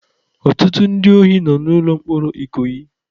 Ọtụtụ ndị ohi nọ n'ụlọ mkpọrọ Ikoyi.